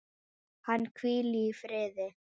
Hann hvíli í friði.